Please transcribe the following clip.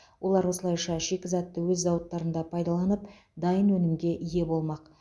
олар осылайша шикізатты өз зауыттарында пайдаланып дайын өнімге ие болмақ